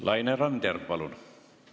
Laine Randjärv, palun!